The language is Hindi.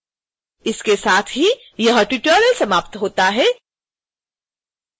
इसके साथ ही यह ट्यूटोरियल समाप्त होता है